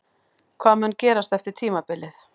Hvað mun gerast eftir tímabilið?